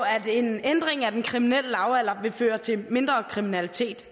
at en ændring af den kriminelle lavalder vil føre til mindre kriminalitet